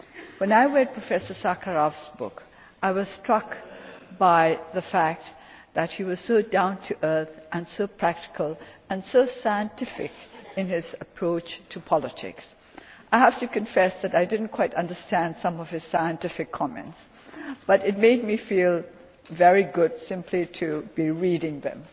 When I read Professor Sakharov's book, I was struck by the fact that he was so down to earth and so practical and scientific in his approach to politics. I have to confess that I did not quite understand some of his scientific comments, but it made me feel very good simply to be reading them.